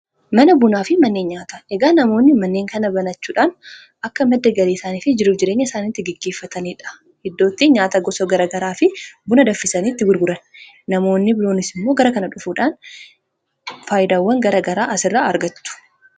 Mana bunaa fi manneen nyaata. egaa namoonni manneen kana banachuudhaan akka madda gaarii isaaniifi jiruu jireenya isaaniitti geggeeffataniidha iddootti nyaata gosa garagaraa fi buna danfisaniitti gurguran namoonni biroonis immoo gara kana dhufuudhaan faayyidaawwan gara garaa asirra argatu.